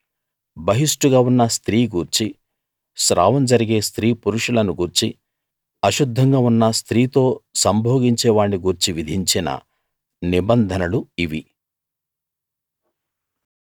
బహిష్టుగా ఉన్న స్త్రీ గూర్చీ స్రావం జరిగే స్త్రీ పురుషులను గూర్చీ అశుద్ధంగా ఉన్న స్త్రీతో సంభోగించే వాణ్ని గూర్చీ విధించిన నిబంధనలు ఇవి